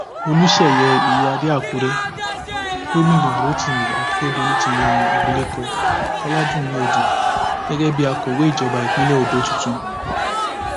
olùsẹyẹ iyíáde àkúrẹ gómìnà rotimi akérèdọlù ti yan abilékọ ọládúnni odù gẹgẹ bíi akọwé ìjọba ìpínlẹ ondo tuntun